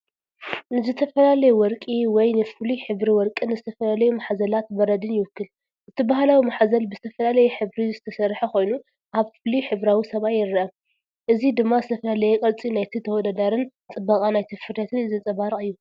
ንዝተፈላለዩ ወርቂ ወይ ንፍሉይ ሕብሪ ወርቅን ዝተፈላለዩማሕዘላት በረድን ይውክል። እቲ ባህላዊ ማሕዘል ብዝተፈላለየ ሕብሪ ዝተሰርሐ ኮይኑ ኣብ ፍሉይ ሕብራዊ ሰማይ ይረአ። እዚ ድማ ዝተፈላለየ ቅርጺ ናይቲ ተወዳዳሪን ጽባቐ ናይቲ ፍርያትን ዘንጸባርቕ እዩ።